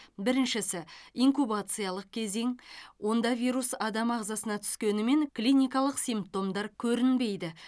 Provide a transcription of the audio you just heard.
біріншісі инкубациялық кезең онда вирус адам ағзасына түскенімен клиникалық симптомдар көрінбейді